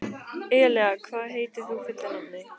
Elea, hvað heitir þú fullu nafni?